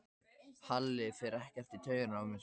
Halli fer ekkert í taugarnar á mér.